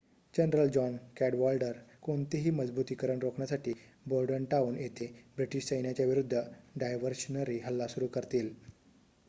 general John Cadwalader कोणतेही मजबुतीकरण रोखण्यासाठी बॉर्डनटाउन येथे ब्रिटीश सैन्याच्या विरूद्ध डायव्हर्शनरी हल्ला सुरु करतील